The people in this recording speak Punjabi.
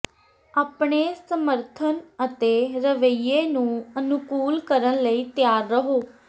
ਆਪਣੇ ਸਮਰਥਨ ਅਤੇ ਰਵੱਈਏ ਨੂੰ ਅਨੁਕੂਲ ਕਰਨ ਲਈ ਤਿਆਰ ਰਹੋ